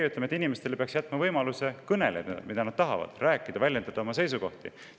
Meie ütleme, et inimestele peaks jätma võimaluse kõneleda sellest, millest nad tahavad, väljendada oma seisukohti.